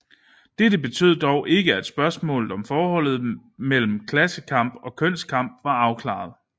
Dette betød dog ikke at spørgsmålet om forholdet mellem klassekamp og kønskamp var afklaret